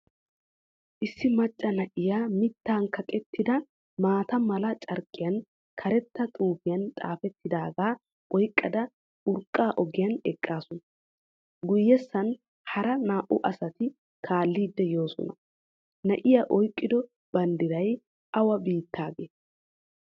Issi macca na"iyaa, mittan kaqqettida maata mala carqqiyan karetta xaafuwan xaattidagaa oyqqida urqqa ogiyan eqqaasu. guyessan hara naa"u asati kaallidi yoosina. na"iyaa oyqqido banddiray awu beettagee?